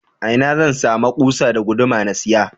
Ina zan sama kusa da guduma na siya?